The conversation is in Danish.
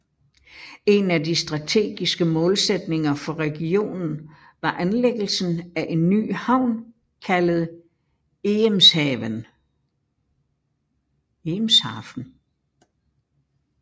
En af de stategiske målsætninger for regionen var anlæggelsen af en ny havn kaldet Eemshaven